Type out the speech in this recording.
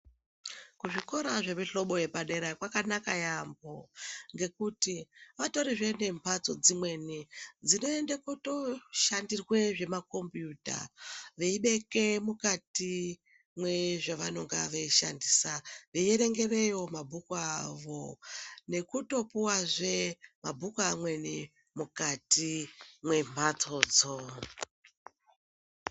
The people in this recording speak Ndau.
Kuzvikora zvemihlobo yepadera kwakanaka yaamho ngekuti vatorizvee nemhatso dzimweni dzinoenda kutooshandirwa zvemakombuuta. Veibeke mukati mwezvavanonga veishandisa mabhuku avo, nekutopuwazve mabhuku amweni mukati mwemhatso dzo.